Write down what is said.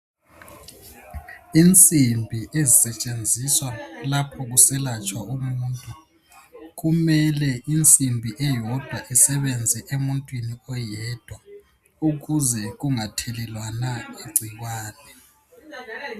insimbi ezisetshenziswa lapho kuselatshwa umuntu kumele insimbi eyodwa isebenze emuntwini oyedwa ukuze kungathelewana igcikwane